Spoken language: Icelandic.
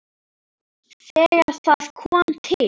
Þegar það kom til